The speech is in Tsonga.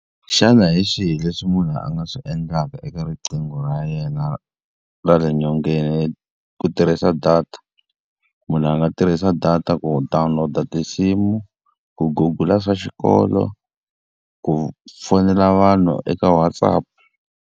Xana hi swihi leswi munhu a nga swi endlaka eka riqingho ra yena ra le nyongeni ku tirhisa data? Munhu a nga tirhisa data ku download-a tinsimu, ku Google-a swa xikolo, ku fonela vanhu eka WhatsApp.